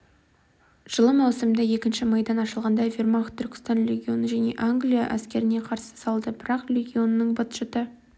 жылы маусымда екінші майдан ашылғанда вермахт түркістан легионын пен англия әскеріне қарсы салды бірақ легионның быт-шыты